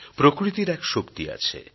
প্রকৃতির এক শক্তি আছে